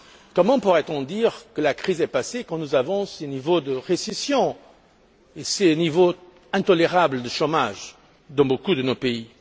Comment pourrait on dire que la crise est passée quand nous avons ce niveau de récession, ce niveau intolérable de chômage dans beaucoup de nos pays?